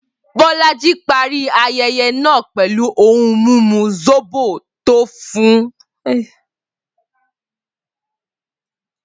Bolaji parí ayẹyẹ náà pẹ̀lú ohun mímu zobo tó tuni lára.